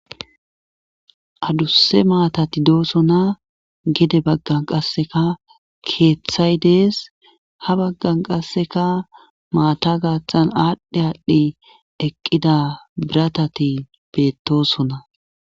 adusse maatati dooso na gede baggan qasseka keeththay dees ha baggan qasseka maata gaaththan aadhdhe aadhdhi eqqida biratati beettosona